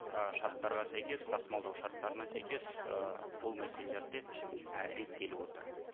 ы шарттарға сәйкес тасымалдау шарттарына сәйкес ы бұл мәселелер де і реттеліп отыр